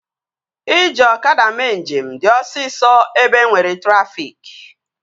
Iji ọkada mee njem dị osisọ ebe enwere trafịk